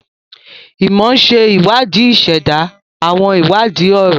Imọ ṣe iwadii iseda, awọn iwadii ọrọ.